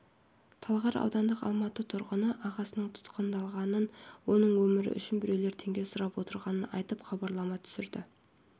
талғар аудандық алматы тұрғыны ағасының тұтқындалғанын оның өмірі үшін біреулер теңге сұрап отырғанын айтып хабарлама түсірді